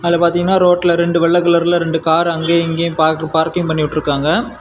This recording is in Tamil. இந்க பாத்தீங்கன்னா ரோட்டுல ரெண்டு வெள்ளை கலர் ரெண்டு கார் அங்கேயும் இங்கேயும் பார்கிங் பண்ணி விட்டுருக்காங்க.